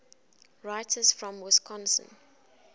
writers from wisconsin